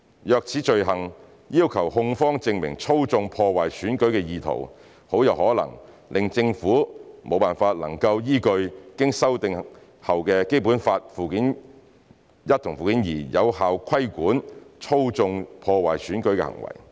若此罪行要求控方證明"操縱、破壞選舉"的意圖，很有可能令政府不能依據經修訂的《基本法》附件一和附件二，有效規管"操縱、破壞選舉"的行為。